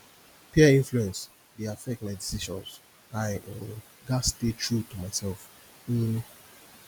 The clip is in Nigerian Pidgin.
peer influence dey affect my decisions i um gats stay true to myself um